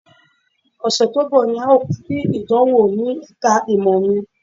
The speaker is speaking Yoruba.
Ọ̀sẹ̀ tó ń bọ̀ ni à ó parí ìdánwò ní ẹ̀ka ìmọ̀ mi